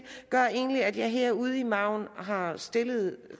gør egentlig at jeg her ude i margen har stillet